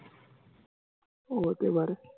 ও হতে পারে